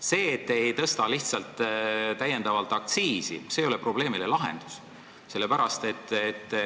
See, et te jätate lihtsalt täiendavalt aktsiisi tõstmata, ei ole probleemi lahendus.